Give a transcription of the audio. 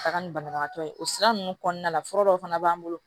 Taga ni banabagatɔ ye o sira ninnu kɔnɔna la fura dɔw fana b'an bolo